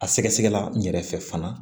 A sɛgɛsɛgɛla n yɛrɛ fɛ fana